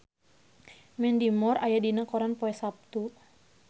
Mandy Moore aya dina koran poe Saptu